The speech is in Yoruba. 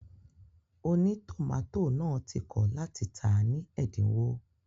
Ònítòmátò náà ti kọ̀ láti tàá ní ẹ̀dínwó